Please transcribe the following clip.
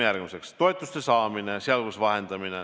Järgmiseks: toetuste saamine, sh vahendamine.